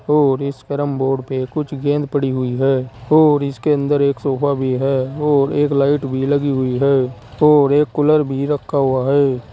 और इस कैरमबोर्ड पे कुछ गेंद पड़ी हुई है और इसके अंदर एक सोफा भी है और एक लाइट भी लगी हुई है और एक कूलर भी रखा हुआ है।